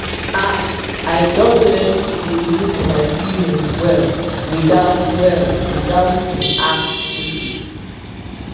ah i don learn to dey look my feelings well without well without to act quickly.